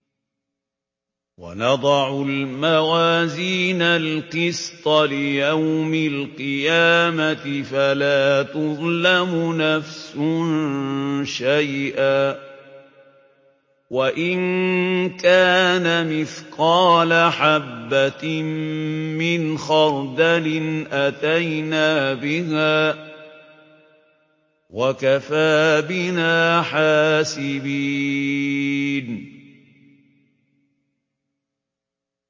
وَنَضَعُ الْمَوَازِينَ الْقِسْطَ لِيَوْمِ الْقِيَامَةِ فَلَا تُظْلَمُ نَفْسٌ شَيْئًا ۖ وَإِن كَانَ مِثْقَالَ حَبَّةٍ مِّنْ خَرْدَلٍ أَتَيْنَا بِهَا ۗ وَكَفَىٰ بِنَا حَاسِبِينَ